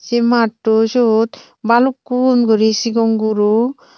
sey matto syot balukkun guri sigon guro.